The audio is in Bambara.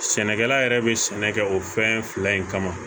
Sɛnɛkɛla yɛrɛ bɛ sɛnɛ kɛ o fɛn fila in kama